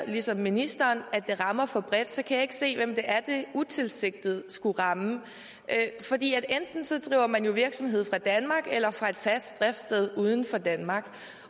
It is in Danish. ligesom ministeren at det rammer for bredt kan jeg ikke se hvem det er det utilsigtet skulle ramme fordi enten driver man jo virksomhed fra danmark eller fra et fast driftssted uden for danmark